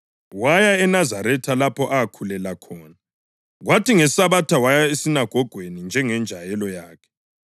Waya eNazaretha lapho akhulela khona kwathi ngeSabatha waya esinagogweni njengenjayelo yakhe. Wasukuma wabala.